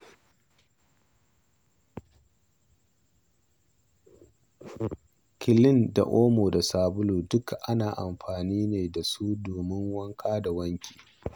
Kilin da omo da sabulu duk ana amfani da su domin wanka ko wanki.